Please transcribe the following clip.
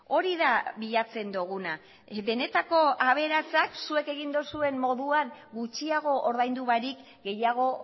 hori da bilatzen duguna benetako aberatsak zuek egin duzuen moduan gutxiago ordaindu barik gehiago